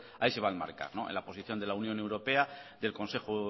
ahí se va a enmarcar en la posición de la unión europea del consejo